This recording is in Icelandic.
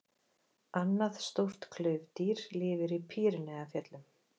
Annað stórt klaufdýr lifir í Pýreneafjöllum.